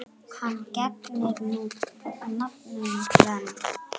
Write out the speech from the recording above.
Hann gegnir nú nafninu Glenn.